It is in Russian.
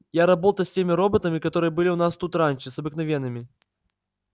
я работал с теми роботами которые были у нас тут раньше с обыкновенными